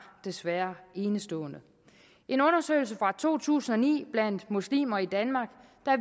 desværre enestående i en undersøgelse fra to tusind og ni blandt muslimer i danmark